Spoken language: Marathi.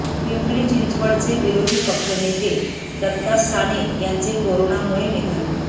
पिंपरी चिंचवडचे विरोधी पक्षनेते दत्ता साने यांचे कोरोनामुळे निधन